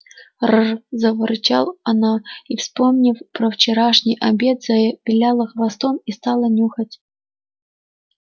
р заворчала она и вспомнив про вчерашний обед завиляла хвостом и стала нюхать